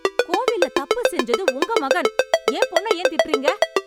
கோவில்ல தப்பு செஞ்சது உங்க மகன்... என் பொண்ண ஏன் திட்டறீங்க?